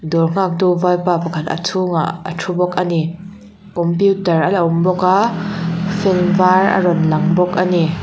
dawr nghaktu vaipa pakhat a chhungah a thu bawk a ni computer ala awm bawk a fan var a rawn lang bawk a ni.